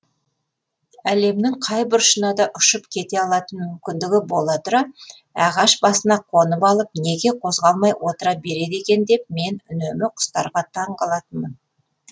әлемнің қай бұрышына да ұшып кете алатын мүмкіндігі бола тұра ағаш басына қонып алып неге қозғалмай отыра береді екен деп мен үнемі құстарға таң қалатынмын